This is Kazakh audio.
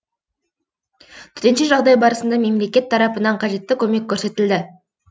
төтенше жағдай барысында мемлекет тарапынан қажетті көмек көрсетілді